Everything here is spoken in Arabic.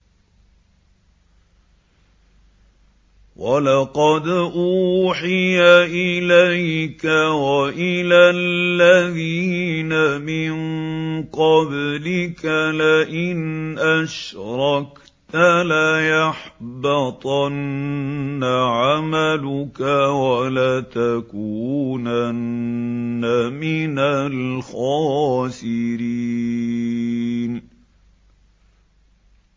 وَلَقَدْ أُوحِيَ إِلَيْكَ وَإِلَى الَّذِينَ مِن قَبْلِكَ لَئِنْ أَشْرَكْتَ لَيَحْبَطَنَّ عَمَلُكَ وَلَتَكُونَنَّ مِنَ الْخَاسِرِينَ